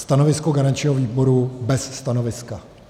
Stanovisko garančního výboru: bez stanoviska.